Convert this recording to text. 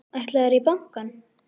Ætlarðu í bankann?